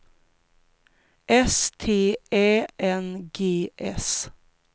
S T Ä N G S